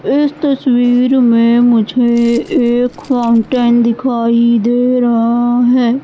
इस तस्वीर में मुझे एक फाउंटेन दिखाई दे रहा है।